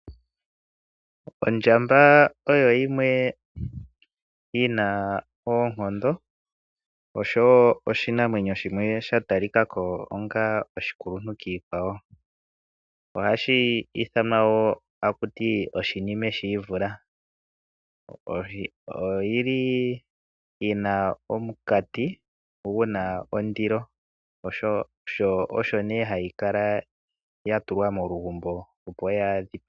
Ondjambaa oyoyimwe yina oonkondo oshowo oshinamwenyo shimwe shatalikakoo ongaa oshikuntu kiikwawo. Ohashiithanwa woo takuti oShinime Shiivula oyo yili yina omunkati guna ondilo shoo osho nee hayikala yatulwa molugumbo opo yaadhipagwe.